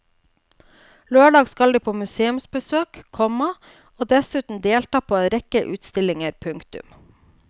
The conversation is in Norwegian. Lørdag skal de på museumsbesøk, komma og dessuten delta på en rekke utstillinger. punktum